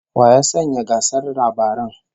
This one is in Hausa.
Wa ya sanya gasar labaran?